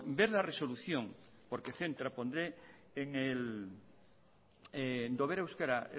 ver la resolución por ejemplo euskara